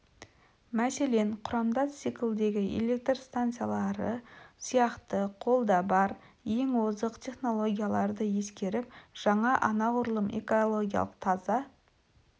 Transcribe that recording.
мәселен құрамдас циклдегі электр станциялары сияқты қолда бар ең озық технологияларды ескеріп жаңа анағұрлым экологиялық таза